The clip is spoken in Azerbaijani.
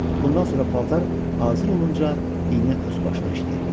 Bundan sonra paltar hazır olunca iynə öz başına işləyirdi.